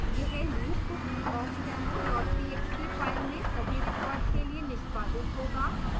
यह loop awkdemo txt file में सभी records के लिए निष्पादित होगा